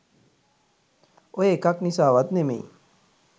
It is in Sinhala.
ඔය එකක් නිසාවත් නෙමෙයි